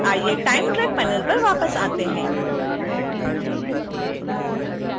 आइए time track panel पर वापस आते हैं